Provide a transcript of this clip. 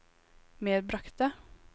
medbragte